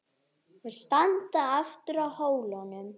Þau standa aftur á hólnum.